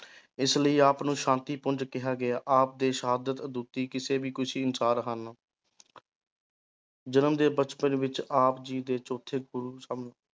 ਇਸ ਲਈ ਆਪ ਨੂੰ ਸ਼ਾਂਤੀ ਪੁੰਜ ਕਿਹਾ ਗਿਆ, ਆਪ ਦੇ ਸ਼ਹਾਦਤ ਅਦੁੱਤੀ ਕਿਸੇ ਵੀ ਅਨੁਸਾਰ ਹਨ ਜਨਮ ਦੇ ਬਚਪਨ ਵਿੱਚ ਆਪ ਜੀ ਦੇ ਚੌਥੇ ਗੁਰੂ ਸਨ